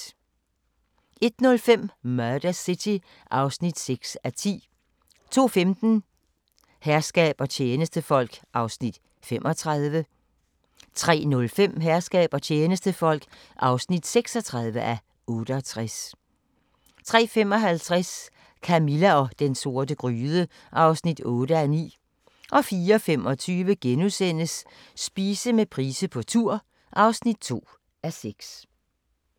01:05: Murder City (6:10) 02:15: Herskab og tjenestefolk (35:68) 03:05: Herskab og tjenestefolk (36:68) 03:55: Camilla og den sorte gryde (8:9) 04:25: Spise med Price på tur (2:6)*